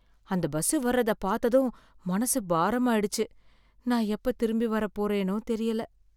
அந்த பஸ் வர்றதை பாத்ததும் மனசு பாரமாயிடுச்சு. நான் எப்ப திரும்பி வரப்போறேனோ தெரியல.